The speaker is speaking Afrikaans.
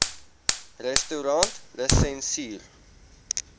restaurantlisensier